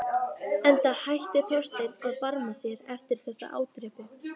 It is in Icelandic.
Enda hætti Þorsteinn að barma sér eftir þessa ádrepu.